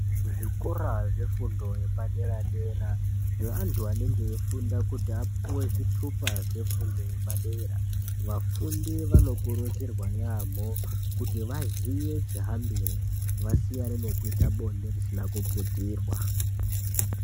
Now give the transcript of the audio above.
Kuzvikora zvefundo yepadera-dera zveantu anenge eifunda kuti apuve zvitupa zvefundo yepadera. Vafundi vanokurudzirwa yaamho kuti vazive chihambire vasiyane nekuita bonde risina kuputirwa.